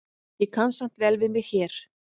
Ég kann samt vel við mig hér.